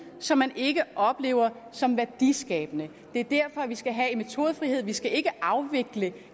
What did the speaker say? som man ikke oplever som værdiskabende det er derfor vi skal have en metodefrihed vi skal ikke afvikle